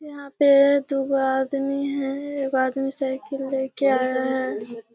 यहाँ पे दू गो आदमी है एगो आदमी साइकिल लेके आया है।